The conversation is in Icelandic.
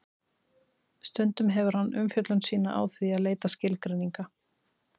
Stundum hefur hann umfjöllun sína á því að leita skilgreininga.